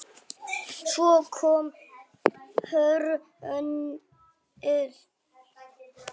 Svo kom hrunið.